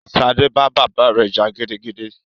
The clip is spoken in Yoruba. Ṣadé bá bàbá rẹ jà gidigidi